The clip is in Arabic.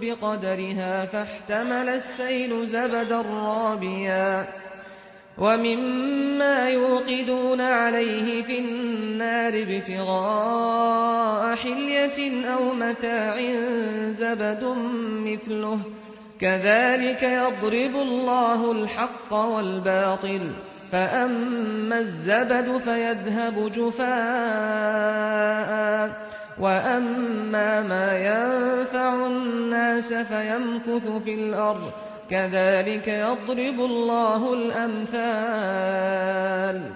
بِقَدَرِهَا فَاحْتَمَلَ السَّيْلُ زَبَدًا رَّابِيًا ۚ وَمِمَّا يُوقِدُونَ عَلَيْهِ فِي النَّارِ ابْتِغَاءَ حِلْيَةٍ أَوْ مَتَاعٍ زَبَدٌ مِّثْلُهُ ۚ كَذَٰلِكَ يَضْرِبُ اللَّهُ الْحَقَّ وَالْبَاطِلَ ۚ فَأَمَّا الزَّبَدُ فَيَذْهَبُ جُفَاءً ۖ وَأَمَّا مَا يَنفَعُ النَّاسَ فَيَمْكُثُ فِي الْأَرْضِ ۚ كَذَٰلِكَ يَضْرِبُ اللَّهُ الْأَمْثَالَ